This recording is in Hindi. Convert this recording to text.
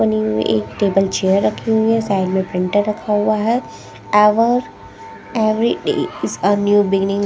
एक टेबल चेयर रखी हुई साइड में प्रिंटर रखा हुआ हैं ever every day is a new beginning --